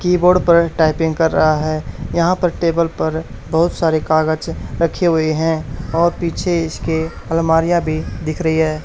Keyboard पर typing कर रहा है। यहां पर टेबल पर बहोत सारे कागज रखे हुए हैं और पीछे इसके अलमारियां भी दिख रही है।